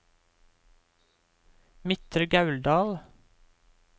Midtre Gauldal